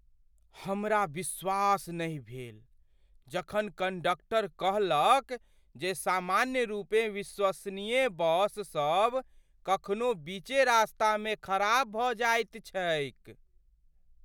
हमरा विश्वास नहि भेल जखन कण्डक्टर कहलक जे सामान्यरूपेँ विश्वसनीय बस सब कखनो बीचे रास्तामे खराब भऽ जाइत छैक।